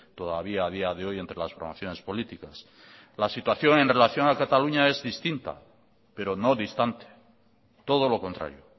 todavía a día de hoy entre las formaciones políticas la situación en relación a cataluña es distinta pero no distante todo lo contrario